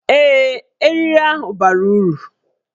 Ee, eriri ahụ bara uru